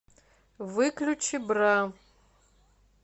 выключи бра